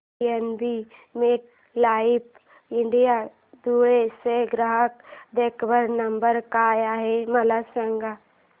PNB MetLife India Dhule चा ग्राहक देखभाल नंबर काय आहे मला सांगा